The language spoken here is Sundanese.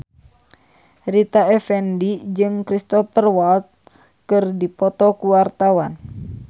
Rita Effendy jeung Cristhoper Waltz keur dipoto ku wartawan